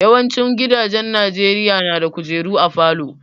Yawancin gidajen Najeriya na da kujeru a falo